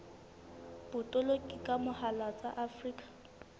botoloki ka mohala tsa afrika